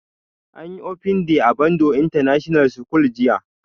Anyi open day a danbo international school jiya